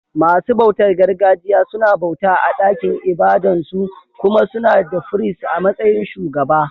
Masu bautar gargajiya suna bauta a ɗakin ibadan su, kuma suna da firist a matsayin shugaba.